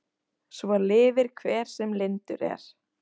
Svo lifir hver sem lyndur er.